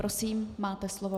Prosím, máte slovo.